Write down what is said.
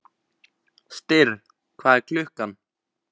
Styrr, hvað er klukkan?